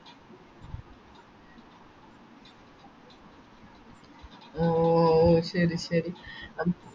ഓ ശെരി ശെരി